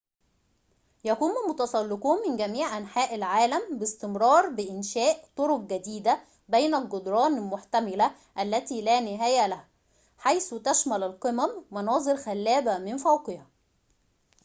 يقوم المتسلّقون من جميعِ أنحاءِ العالمِ باستمرار بإنشاء طرقٍ جديدةٍ بين الجدران المحتملةِ التي لا نهاية لها حيث تشمل القمم مناظر خلابةٍ من فوقها